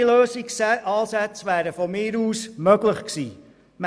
Andere Ansätze wären meines Erachtens möglich gewesen.